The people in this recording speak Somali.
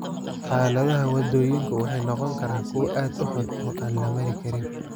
Xaaladaha waddooyinku waxay noqon karaan kuwo aad u xun oo aan la mari karin.